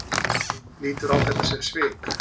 Lítur á þetta sem svik?